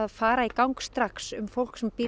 fara í gang strax fólk sem býr